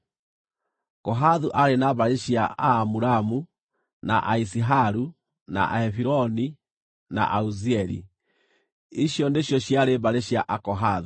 Kohathu aarĩ na mbarĩ cia Aamuramu, na Aiziharu, na Ahebironi, na Auzieli; icio nĩcio ciarĩ mbarĩ cia Akohathu.